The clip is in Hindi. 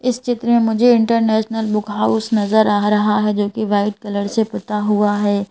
इस चित्र में मुझे इंटरनेशनल बुक हाउस नजर आ रहा है जो कि वाइट कलर से पुता हुआ है।